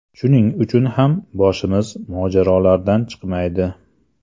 Shuning uchun ham boshimiz mojarolardan chiqmaydi.